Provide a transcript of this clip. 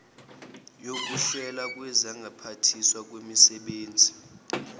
yokuhlelwa kwezokuphathwa kwezisebenzi